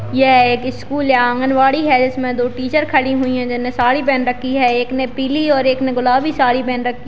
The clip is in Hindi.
यह एक स्कूल है आंगनवाड़ी है जिसमें दो टीचर खड़ी हुई हैं जिन्होंने साड़ी पहन रखी है एक ने पीली और एक ने गुलाबी साड़ी पहन रखी --